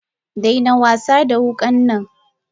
Daina wasada wukan nan!